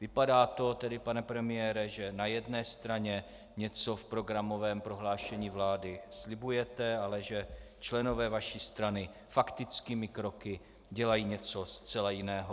Vypadá to tedy, pane premiére, že na jedné straně něco v programovém prohlášení vlády slibujete, ale že členové vaší strany faktickými kroky dělají něco zcela jiného.